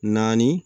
Naani